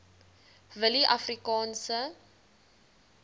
willieafrikaanse